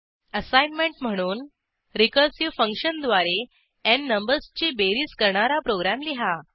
assignment म्हणून recursive फंक्शनद्वारे n नंबर्सची बेरीज करणारा प्रोग्रॅम लिहा